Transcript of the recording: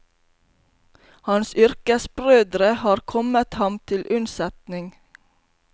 Hans yrkesbrødre har kommet ham til unnsetning.